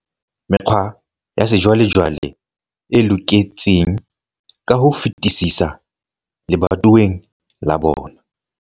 Mekgwa ya sejwalejwale e loketseng ka ho fetisisa lebatoweng la bona.